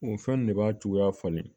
O fɛn ne b'a cogoya falen